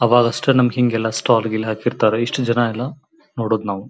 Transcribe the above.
ಆವಾಗಷ್ಟೆ ನಮ್ಮಗೆ ಹಿಂಗೆಲ್ಲಾ ಸ್ಟಾಲ್ ಗಿಲ್ ಎಲ್ಲಾ ಹಾಕಿರ್ತ್ತರೆ ಇಷ್ಟು ಜನ ಎಲ್ಲಾ ನೋಡೊದ ನಾವು .